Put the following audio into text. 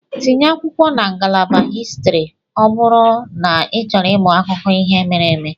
Tinye akwụkwọ na ngalaba histri ọ bụrụ n'ịchọrọ ịmụ akụkọ ihe mere eme.